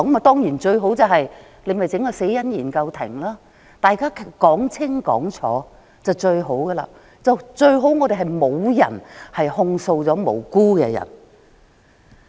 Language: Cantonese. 當然，成立一個死因研究庭讓大家說清楚，沒有無辜的人被控訴是最好的。